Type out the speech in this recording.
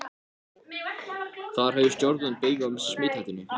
Þar höfðu stjórnvöld beyg af smithættunni.